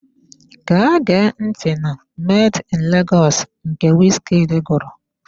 Gaa gee ntị na "Made in Lagos" nke wizkid gụrụ!